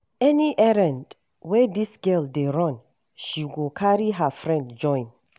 Any errand wey dis girl dey run, she go carry her friend join.